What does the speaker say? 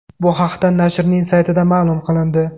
Bu haqda nashrning saytida ma’lum qilindi .